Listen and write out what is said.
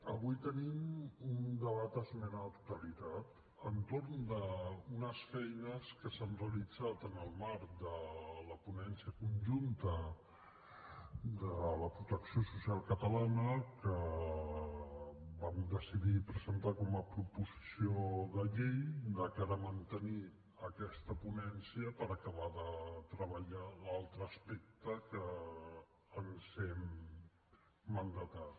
avui tenim un debat d’esmena a la totalitat entorn d’unes feines que s’han realitzat en el marc de la ponència conjunta de la protecció social catalana que vam decidir presentar com a proposició de llei de cara a mantenir aquesta ponència per acabar de treballar l’altre aspecte que ens hem mandatat